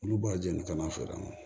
Olu b'a jeni ka n'a feere